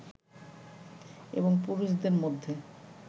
এবং পুরুষদের মধ্যে